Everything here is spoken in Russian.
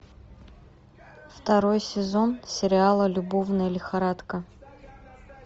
второй сезон сериала любовная лихорадка